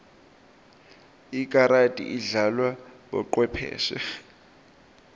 ikarati idlalwa bocwepheshe